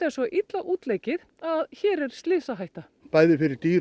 svo illa útleikið að hér er slysahætta bæði fyrir dýr